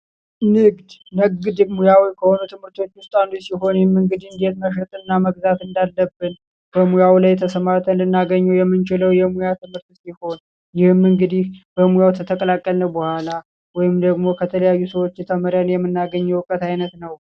ንግድ! ንግድ ሙያዊ ትምህርቶች ውስጥ አንዱ ሲሆን ይህም እንግዲህ እንዴት መሸጥ እና መግዛት እንዳለብን በሙያው ላይ ተሰማርተን ልናገኘው የምንችለው የሙያ ትምህርት ሲሆን ይህም እንግዲህ በሙያው ከተቀላቀልን በኋላ ወይም ደግሞ ከተለያዩ ሰዎች ተምረን የምናገኘው የውቀት አይነት ነው።